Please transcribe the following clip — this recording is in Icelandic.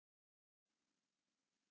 Það gengur fínt